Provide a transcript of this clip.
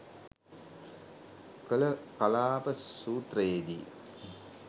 කළ කලාප සූත්‍රයේ දී